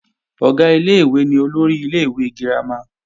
Ọ̀gá ilé-ìwé ni olórí ilé-ìwé girama